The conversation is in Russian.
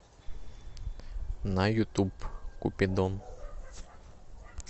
на ютуб купидон